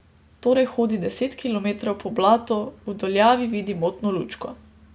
Torej hodi deset kilometrov po blatu, v daljavi vidi motno lučko.